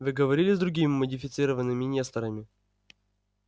вы говорили с другими модифицированными несторами